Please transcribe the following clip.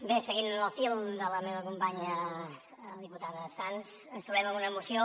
bé seguint el fil de la meva companya la diputada sans ens trobem amb una moció